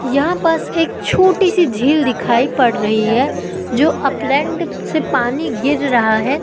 यहां पास एक छोटी सी झील दिखाई पड़ रही है जो अपलैंड से पानी गिर रहा है।